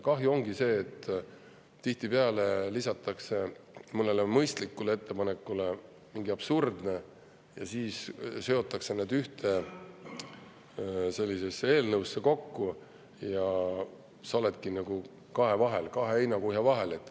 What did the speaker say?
Kahju ongi sellest, et tihtipeale lisatakse mõnele mõistlikule ettepanekule midagi absurdset, siis seotakse need ühte eelnõusse kokku ja sa oledki kahe vahel, kahe heinakuhja vahel.